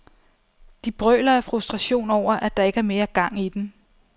De brøler af frustration over, at der ikke er mere gang i den.